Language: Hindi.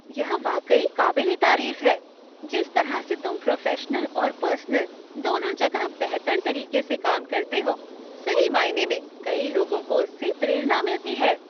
यह वाकई काबिल ए तारीफ है। जिस तरह से तुम प्रोफेशनल और पर्सनल, दोनों जगह बेहतर तरीके से काम करते हो, सही मायने में कई लोगों को उससे प्रेरणा मिलती है।